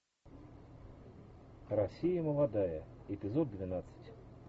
россия молодая эпизод двенадцать